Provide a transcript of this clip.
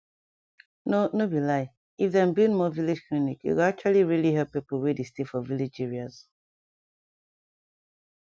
no no be lie if dem build more village clinic e go actually really help pipo wey dey stay for village areas